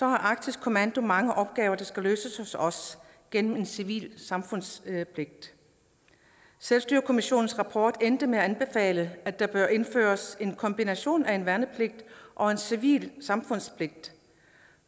at arktisk kommando har mange opgaver der skal løses hos os gennem civil samfundspligt selvstyrekommissionens rapport endte med at anbefale at der bør indføres en kombination af værnepligt og civil samfundspligt